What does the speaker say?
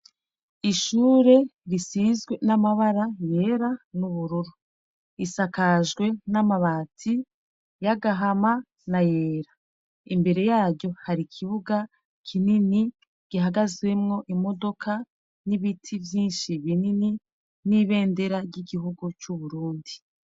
Ishure risizwe n'amabara yera n'ubururu isakajwe n'amabati y'agahama na yera imbere yaryo hari ikibuga kinini gihagazwemwo imodoka n'ibiti vyinshi binini n'ibendera ry'igihugu c'uburundi.